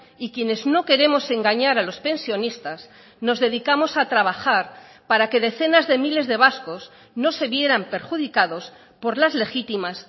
y quienes no queremos engañar a los pensionistas nos dedicamos a trabajar para que decenas de miles de vascos no se vieran perjudicados por las legítimas